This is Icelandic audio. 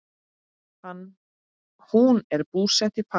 Hún er búsett í París.